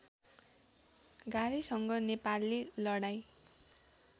गार्‍हैसँग नेपालले लडाईँँ